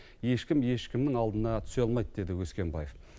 ешкім ешкімнің алдына түсе алмайды деді өскенбаев